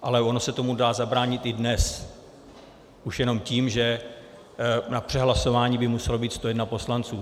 Ale ono se tomu dá zabránit i dnes už jenom tím, že na přehlasování by musel být 101 poslanec.